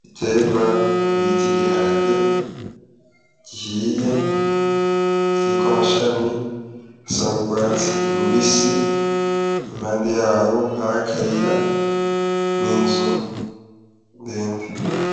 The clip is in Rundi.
Igiterwa bita igiharage, gihiye kiriko amashami asa n'urwatsi rubisi, impande yaho hari akayira ninzu ndende.